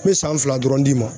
N bɛ san fila dɔrɔn d'i ma.